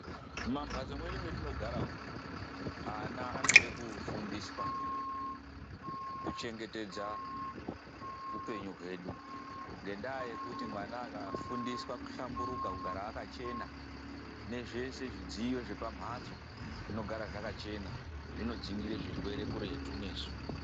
MUMAMBATSO MEDU METINOGARA UMU, ANA ANODE KUFUNDISWA KUCHENGETEDZA UPENYU HWEDU NGENDAA YEKUTI , MWANA AKAFUNDISWA KUHLAMBURUKA KUGARA AKACHENA ,NEZVESE ZVIDZIYO ZVEPAMHATSO ZVINOGARA ZVAKACHENA ZVINODZINGIRE ZVIRWERE KURETU NESU.